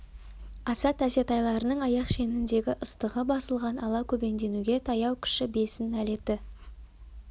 асат әсет айларының аяқ шеніндегі ыстығы басылған ала көбеңденуге таяу кіші бесін әлеті